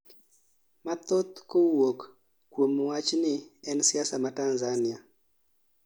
mathoth kawuok kuom wachni en siasa ma Tanzania